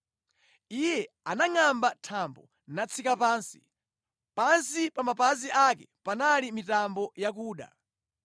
Iye anangʼamba thambo natsika pansi; pansi pa mapazi ake panali mitambo yakuda.